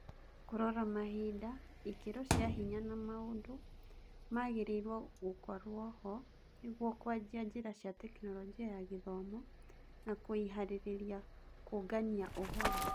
Kũrora mahinda, ikĩro cia hinya na maũndũ magĩrĩirwo gũkorwoho nĩguo kũanjia njĩra cia Tekinoronjĩ ya Gĩthomo na kũĩharĩria kũũngania ũhoro.